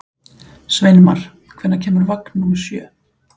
Sveinmar, hvenær kemur vagn númer sjö?